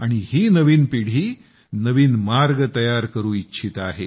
ही नवीन पिढी नवीन मार्ग तयार करू इच्छित आहेत